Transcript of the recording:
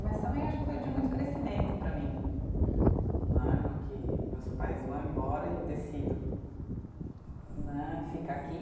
Mas também acho que foi de muito crescimento para mim, né no que meus pais vão embora e eu decido né, ficar aqui.